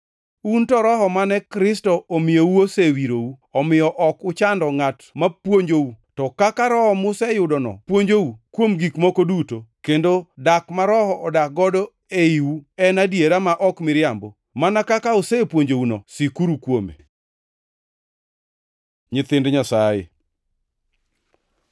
Un to Roho mane Kristo omiyou osewirou, omiyo ok uchando ngʼat mapuonjou. To kaka Roho museyudono puonjou kuom gik moko duto, kendo dak ma Roho odak godo e iwu en adiera ma ok miriambo mana kaka osepuonjouno, sikuru kuome. Nyithind Nyasaye